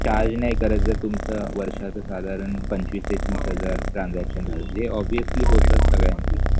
charge नाही करत जर तुमचं वर्षाचं साधारण पंचवीस ते तीस हजार transaction झालं जे obviously होतच सगळ्यांचं